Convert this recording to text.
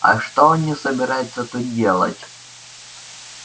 а что они собираются тут делать